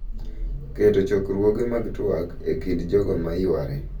Keto chokruoge mag twak e kind jogo ma yware.